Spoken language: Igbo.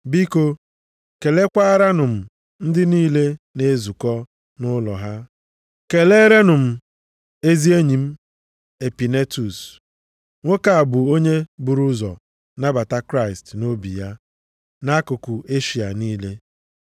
Biko kelekwaaranụ m ndị niile na-ezukọ nʼụlọ ha. Keleerenụ m ezi enyi m Epinetus. Nwoke a bụ onye buru ụzọ nabata Kraịst nʼobi ya, nʼakụkụ Eshịa niile.